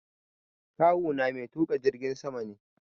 Kawu na mai tuƙa jirgin sama ne.